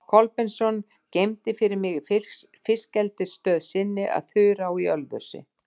Kolbeinsson geymdi fyrir mig í fiskeldisstöð sinni að Þurá í Ölfusi.